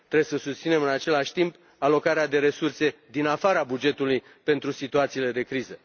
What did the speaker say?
Trebuie să susținem, în același timp, alocarea de resurse din afara bugetului pentru situațiile de criză.